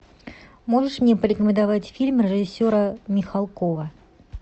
можешь мне порекомендовать фильм режиссера михалкова